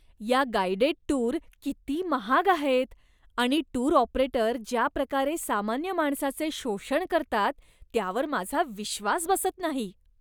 या guided tour किती महाग आहेत आणि टूर ऑपरेटर ज्या प्रकारे सामान्य माणसाचे शोषण करतात त्यावर माझा विश्वास बसत नाही.